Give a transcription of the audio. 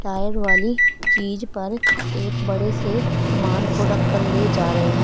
Tyre वाली चीज पर एक बड़े से सामान को रख कर ले जा रहे हैं।